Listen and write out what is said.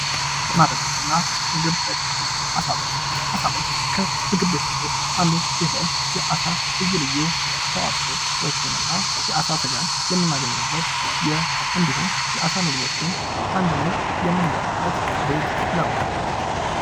ቡና ቤቶችና ምግብ ቤቶች አሳቤት ከምግብ ቤቶች ውስጥ አንዱ ሲሆን የአሳ ልዩ ልዩ ተዋፆዎችንና የአሳ ስጋን የምናገኝበት እንዲሁም የአሳ ምግብን በአንድ ላይ የምንበላበት ቤት ነው።